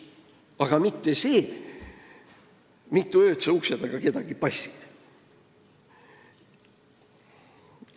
Tähtis pole mitte see, mitu ööd sa kedagi ukse taga passid.